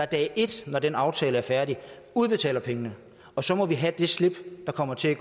dag et når den aftale er færdig udbetaler pengene og så må vi have det slip der kommer til at